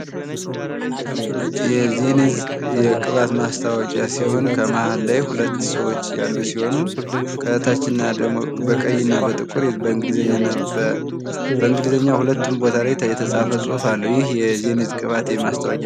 የዘኒት የቅባት ማስታወቂያ ሲሆን መሀል ላይ ሁለት ሰዎች ያሉ ሲሆኑ ከታችና ደግሞ በቀይና በጥቁር በእንግሊዝኛ ሁለቱም ቦታ ላይ የተጻፈ ጽሑፍ አለ። ይህ የዘኒት ቅባት የማስታወቂያ።